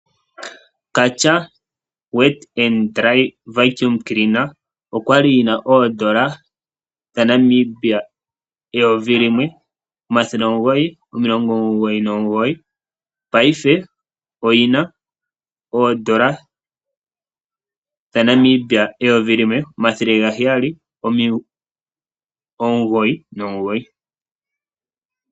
Karcher Wet & Dry Vacuum Cleaner okwa li yi na N$ 1 999, paife oyi na N$ 1 799.